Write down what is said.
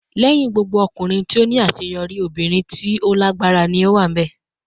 "Lẹhin gbogbo ọkunrin ti o ni aṣeyọri, obirin ti o lagbara ni o wa."